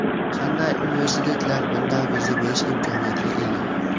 Qanday universitetlar bunday viza berish imkoniyatiga ega?